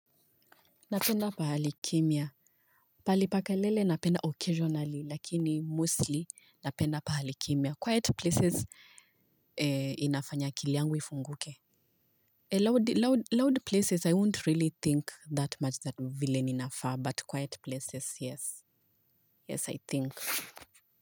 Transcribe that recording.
Napenda pahali kimya. Pahali pa kelele napenda occasionally, lakini mostly napenda pahali kimya. Quiet places inafanya akili yangu ifunguke. Loud places, I won't really think that much that much vile ninafaa, but quiet places, yes. Yes, I think.